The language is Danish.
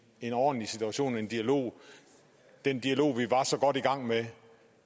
en ordentlig situation en dialog den dialog vi var så godt i gang med